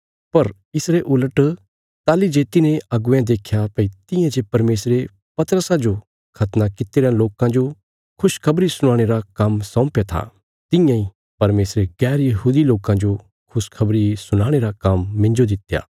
पर इसरे उलट ताहली जे तिन्हें अगुवेयां देख्या भई तियां जे परमेशरे पतरसा जो खतना कित्ती रयां लोकां जो खुशखबरी सुनाणे रा काम्म सौंपया था तियां इ परमेशरे गैरयहूदी लोकां जो खुशखबरी सुनाणे रा काम्म मिन्जो दित्या